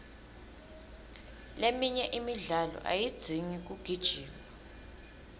leminye imidlalo ayidzingi kugijima